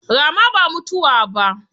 Rama ba mutuwa ba.